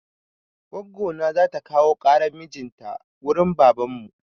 Goggo na za ta kawo ƙaran mijin ta wurin babanmu.